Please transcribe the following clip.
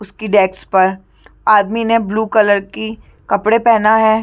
उसकी डेक्स पर आदमी ने ब्लू_कलर की कपड़े पहना है।